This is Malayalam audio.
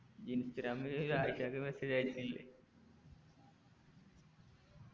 ഇൻസ്റ്റാഗ്രാമിൽ ഒരു ആയിഷക്ക് message അയച്ചിട്ടില്ലേ